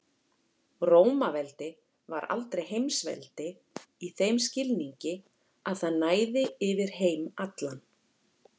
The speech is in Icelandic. Rómaveldi var aldrei heimsveldi í þeim skilningi að það næði yfir heim allan.